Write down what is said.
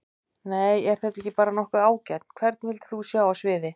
Nei er þetta ekki bara nokkuð ágætt Hvern vildir þú sjá á sviði?